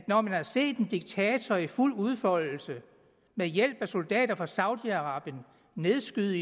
når man har set en diktator i fuld udfoldelse med hjælp af soldater fra saudi arabien nedskyde